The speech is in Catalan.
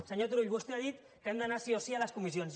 senyor turull vostè ha dit que hem d’anar sí o sí a les comissions